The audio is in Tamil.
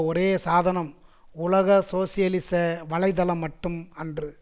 ஒரே சாதனம் உலக சோசியலிச வலை தளம் மட்டும் அன்று